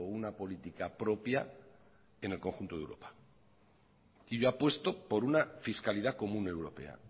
una política propia en el conjunto de europa y yo apuesto por una fiscalidad común europea